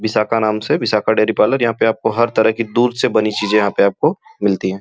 विशाखा नाम से Vishakha dairy parlour यहाँ पे हर तरह की दूध से बनी चीजें यहाँ पे मिलती हैं।